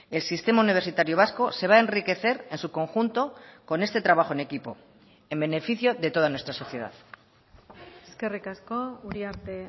el sistema universitario vasco se va a enriquecer en su conjunto con este trabajo en equipo en beneficio de toda nuestra sociedad eskerrik asko uriarte